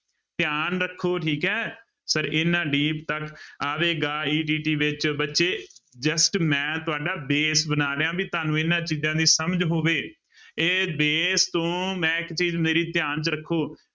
ਧਿਆਨ ਰੱਖੋ ਠੀਕ ਹੈ, ਸਰ ਇਹਨਾਂ deep ਤੱਕ ਆਵੇਗਾ ETT ਵਿੱਚ ਬੱਚੇ just ਮੈਂ ਤੁਹਾਡਾ base ਬਣਾ ਰਿਹਾਂ ਵੀ ਤੁਹਾਨੂੰ ਇਹਨਾਂ ਚੀਜ਼ਾਂ ਦੀ ਸਮਝ ਹੋਵੇ ਇਹ base ਤੋਂ ਮੈਂ ਇੱਕ ਚੀਜ਼ ਮੇਰੀ ਧਿਆਨ ਚ ਰੱਖੋ